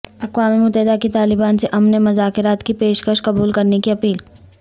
اقوام متحدہ کی طالبان سے امن مذاکرات کی پیش کش قبول کرنے کی اپیل